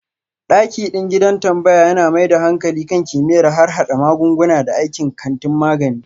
Dakiɗin gidan tambaya yana mai da hankali kan kimiyyar harhada magunguna da aikin kantin magani.